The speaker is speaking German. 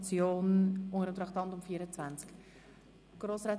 Ja, ich kann das gleich klären.